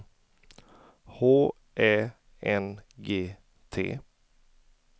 H Ä N G T